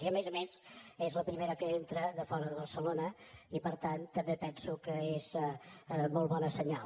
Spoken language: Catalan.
i a més a més és la primera que entra de fora de barcelona i per tant també penso que és molt bon senyal